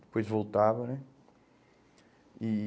Depois voltava, né? E